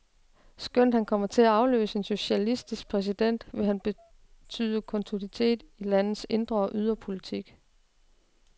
Skønt han kommer til at afløse en socialistisk præsident, vil han betyde kontinuitet i landets indre og ydre politik.